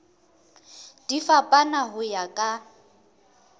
di fapana ho ya ka